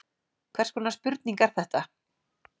Hvers konar spurning er þetta?